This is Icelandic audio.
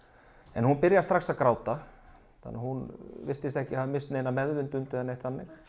en hún byrjar strax að gráta þannig að hún virtist ekki hafa misst meðvitund eða neitt þannig